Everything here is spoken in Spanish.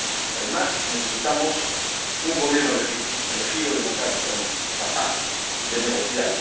Además, necesitamos un gobierno legítimo, elegido democráticamente, capaz de negociar.